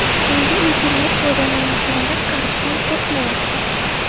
Endi internet-foydalanuvchilari qarishdan qo‘rqmayapti.